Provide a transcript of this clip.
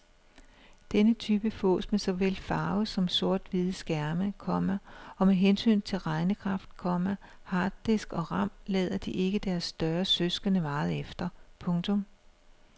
Denne type fås med såvel farve som sorthvide skærme, komma og med hensyn til regnekraft, komma harddisk og ram lader de ikke deres større søskende meget efter. punktum